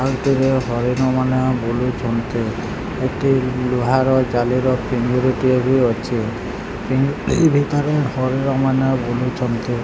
ଆ ଏଥିରେ ହରିଣମାନେ ବୁଲୁଛନ୍ତି ଏଠି ଲୁହାର ଜାଲିର ପିଞ୍ଜିରି ଟିଏ ବି ଅଛି ପିଞ୍ଜିରି ଭିତରେ ହରିଣମାନେ ବୁଲୁଚନ୍ତି।